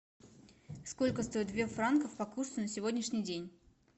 сколько стоит две франков по курсу на сегодняшний день